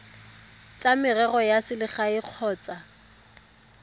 tsa merero ya selegae kgotsa